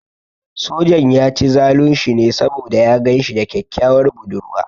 Sojan ya ci zalun shi ne saboda ya gan shi da kyakkyawar budurwa.